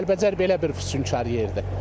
Yəni Kəlbəcər belə bir füsunkar yerdir.